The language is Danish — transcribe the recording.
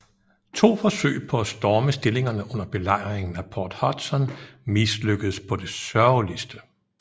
To forsøg på at storme stillingerne under Belejringen af Port Hudson mislykkedes på det sørgeligste